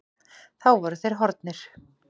Þá voru þeir horfnir.